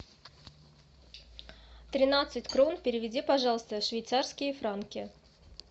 тринадцать крон переведи пожалуйста в швейцарские франки